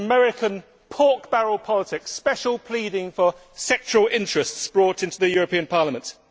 It is American pork barrel politics special pleading for sectoral interests brought into the European Parliament.